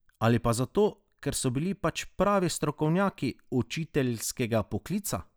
Ali pa zato, ker so bili pač pravi strokovnjaki učiteljskega poklica?